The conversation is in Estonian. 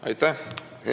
Aitäh!